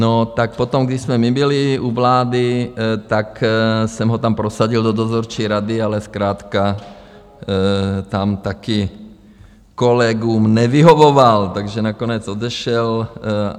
No tak potom, když jsme my byli u vlády, tak jsem ho tam prosadil do dozorčí rady, ale zkrátka tam taky kolegům nevyhovoval, takže nakonec odešel.